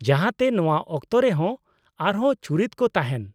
ᱡᱟᱦᱟᱸ ᱛᱮ ᱱᱚᱶᱟ ᱚᱠᱛᱚᱨᱮᱦᱚᱸ ᱟᱨᱦᱚᱸ ᱪᱩᱨᱤᱛ ᱠᱚ ᱛᱟᱦᱮᱱ ᱾